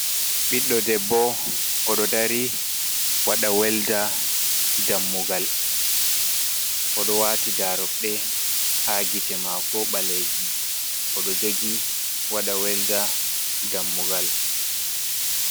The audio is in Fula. Ɓiɗdo debbo, oɗo dari waɗa welda dammugal. oɗo wati daru ɗe ha gite mako balejum oɗo jogi waɗa welda dammugal.